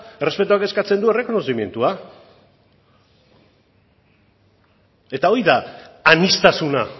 errespetuak eskatzen du errekonozimendua eta hori da aniztasuna